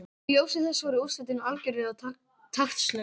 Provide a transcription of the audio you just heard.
Í ljósi þess voru úrslitin algjörlega taktlaus!